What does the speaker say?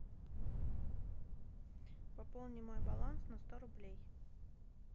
пополни мой баланс на сто рублей